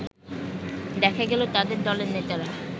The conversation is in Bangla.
দেখা গেল তাদের দলের নেতারা